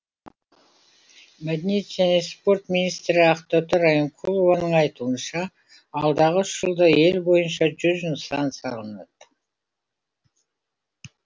мәдениет және спорт министрі ақтоты райымқұлованың айтуынша алдағы үш жылда ел бойынша жүз нысан салынады